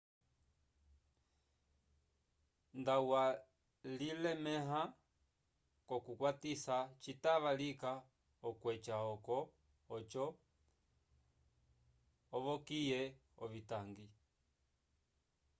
nda walilemẽha k'okukwatisa citava lika okweca oco ovokiye ovitangi